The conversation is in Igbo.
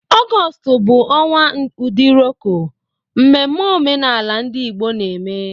Ọgọọst bụ ọnwa Udiroko, mmemme omenala ndị Igbo na-eme.